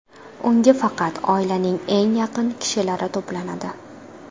Unga faqat oilaning eng yaqin kishilari to‘planadi.